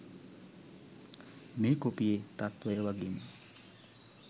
මේ කොපියේ තත්වය වගෙම